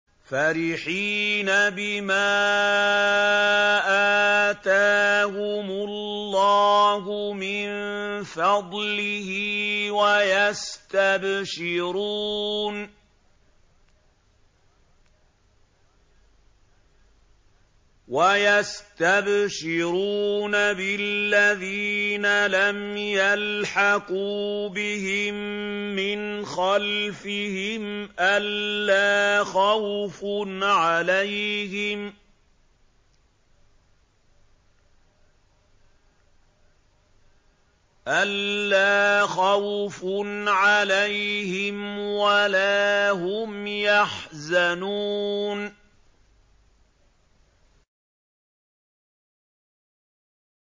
فَرِحِينَ بِمَا آتَاهُمُ اللَّهُ مِن فَضْلِهِ وَيَسْتَبْشِرُونَ بِالَّذِينَ لَمْ يَلْحَقُوا بِهِم مِّنْ خَلْفِهِمْ أَلَّا خَوْفٌ عَلَيْهِمْ وَلَا هُمْ يَحْزَنُونَ